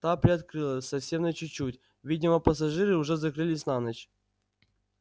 та приоткрылась совсем на чуть-чуть видимо пассажиры уже закрылись на ночь